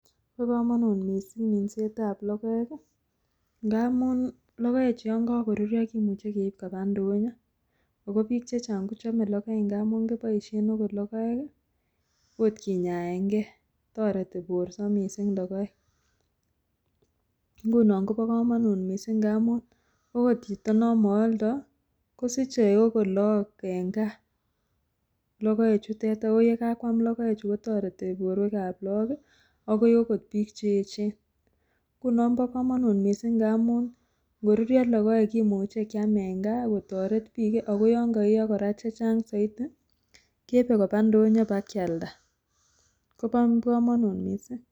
Bokomonut mising' minsetab logoek ngamun logoechu yon kokorurio kimuche keib kopaa ndonyo ako biik chechang' kochome logoek ngamu kiboisien akot logoek kinyaenge toreti borto mising' logoek. ngunon kobokomonut mising' ngamun okot chito nomooldo kosiche akot look en kaa logoechutet ako yekakwam logoechu kotoreti borwekab look akoi okoy biik cheechen, ngunon bokomonut mising' ngamun ngorurio logoek kimuche kyam en gaa kotoret biik ako yongoiyoo chechang soiti keibe kopaa ndonyo kopakyialda kobokomonut mising'.